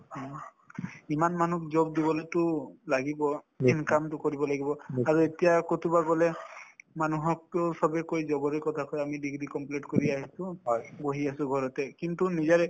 হয় ইমান মানুহক job দিবলেতো লাগিব income তো কৰিব লাগিব আৰু এতিয়া কৰবাত গলে মানুহকতো চবে কই job ৰে কথা কই আমি degree complete কৰি আহিছো বহি আছো ঘৰতে কিন্তু নিজৰে